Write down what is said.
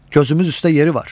Gözümüz üstə yeri var.